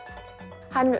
hann